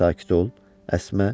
Sakit ol, əsmə.